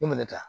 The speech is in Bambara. I mɛna ta